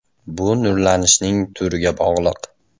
Bu nurlanishning turiga bog‘liq.